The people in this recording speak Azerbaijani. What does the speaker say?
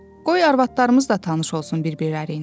Qoy arvadlarımız da tanış olsun bir-birilə.